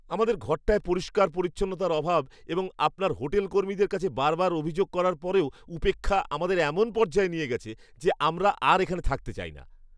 আমাদের ঘরটায় পরিষ্কার পরিচ্ছন্নতার অভাব এবং আপনার হোটেলকর্মীদের কাছে বারবার অভিযোগ করার পরেও উপেক্ষা আমাদের এমন পর্যায়ে নিয়ে গেছে যে আমরা আর এখানে থাকতে চাই না।